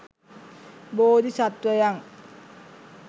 බෝධි සත්වයන්